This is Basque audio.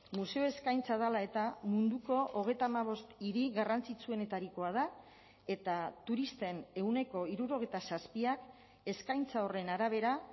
museo eskaintza dela eta munduko hogeita hamabost hiri garrantzitsuenetarikoa da eta turisten ehuneko hirurogeita zazpiak eskaintza horren arabera